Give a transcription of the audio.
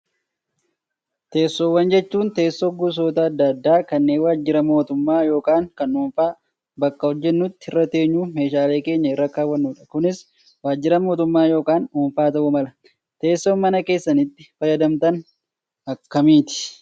Teessoowwan jechuun teessuma gosoota adda addaa kanneen waajjira mootummaa yookaan kan dhuunfaa bakka hojjannutti irra teenyuu fi meeshaalee keenya irra kaawwannudha. Kunis waajjira mootummaa yookaan dhuunfaa ta'uu mala. Teessoon mana keessanitti fayyadamtan kan akkamiiti?